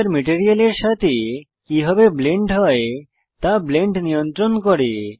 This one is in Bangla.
টেক্সচার মেটেরিয়ালের সাথে কিভাবে ব্লেন্ড হয় তা ব্লেন্ড নিয়ন্ত্রণ করে